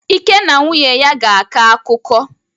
Ike na nwunye ya ga-akọ akụkọ.